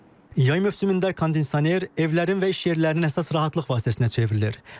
Yay mövsümündə kondisioner evlərin və iş yerlərinin əsas rahatlıq vasitəsinə çevrilir.